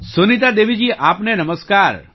સુનીતા દેવીજી આપને નમસ્કાર